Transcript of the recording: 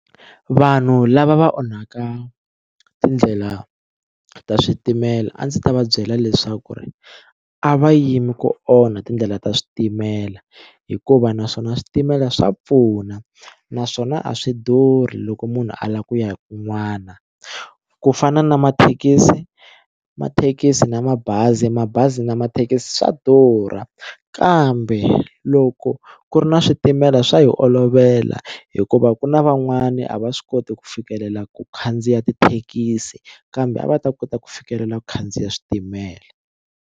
Vanhu lava va onhaka tindlela ta switimela a ndzi ta va byela leswaku ri a va yimi ku onha tindlela ta switimela hikuva naswona switimela swa pfuna naswona a swi durhi loko munhu a lava ku ya kun'wana ku fana na mathekisi mathekisi na mabazi mabazi na mathekisi swa durha kambe loko ku ri na switimela swa hi olovela hikuva ku na van'wani a va swi koti ku fikelela ku khandziya tithekisi kambe a va ta kota ku fikelela ku khandziya switimela.